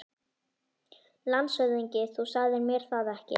LANDSHÖFÐINGI: Þú sagðir mér það ekki.